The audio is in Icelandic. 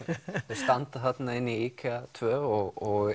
þau standa þarna inni í tvö og